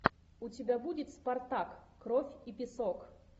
у тебя будет спартак кровь и песок